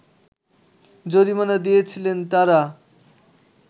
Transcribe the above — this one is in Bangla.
জরিমানা দিয়েছিলেন তারা